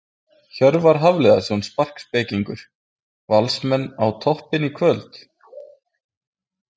Hjörvar Hafliðason sparkspekingur: Valsmenn á toppinn í kvöld?